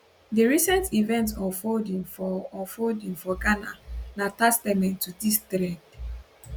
di recent events unfolding for unfolding for ghana na testament to dis trend